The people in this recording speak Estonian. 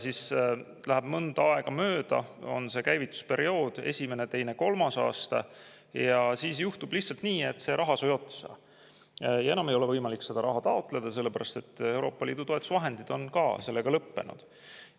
Siis läheb mingi aeg mööda – on käivitusperiood üks, kaks, kolm aastat – ja siis juhtub lihtsalt see, et raha saab otsa ja enam ei ole võimalik raha taotleda, sellepärast et Euroopa Liidu toetusvahendid on ka.